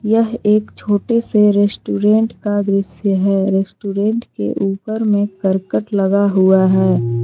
यह एक छोटे से रेस्टोरेंट का दृश्य है रेस्टोरेंट के ऊपर में करकट लगा हुआ है।